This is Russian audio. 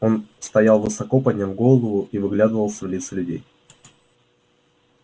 он стоял высоко подняв голову и вглядывался в лица людей